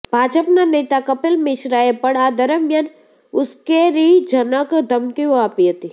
ભાજપના નેતા કપિલ મિશ્રાએ પણ આ દરમિયાન ઉશ્કેરણીજનક ધમકીઓ આપી હતી